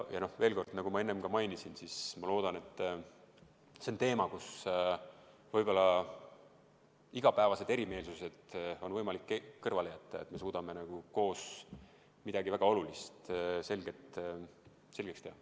Ja veel kord, nagu ma enne ka mainisin: ma väga loodan, et see on teema, mille puhul igapäevased erimeelsused on võimalik kõrvale jätta, et me suudame koos midagi väga olulist selgeks teha.